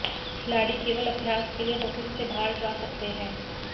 खिलाड़ी केवल अभ्यास के लिए होटल से बाहर जा सकते हैं